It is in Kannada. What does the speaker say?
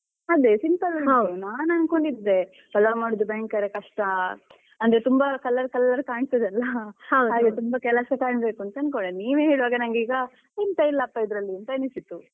ಅದೇ simple ಆಗಿ ಅದೇ ನಾನ್ ಅನ್ಕೊಂಡಿದ್ದೆ ಪಲಾವ್ ಮಾಡುದು ಭಯಂಕರ ಕಷ್ಟ ಅಂದ್ರೆ ತುಂಬಾ colour colour ಕಾಣ್ತದಲ್ಲ ಹಾಗೆ ತುಂಬಾ ಕೆಲಸ ಕಾಣ್ಬೇಕು ಅನ್ಕೊಂಡಿದ್ದೆ ನೀವೇ ಹೇಳ್ವಾಗ ನಂಗೀಗ ಎಂತ ಇಲ್ಲಪ್ಪ ಇದರಲ್ಲಿ ಅಂತ ಅನಿಸಿತು.